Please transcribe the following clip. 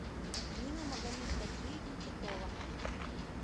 нина магомедгаджиевна титова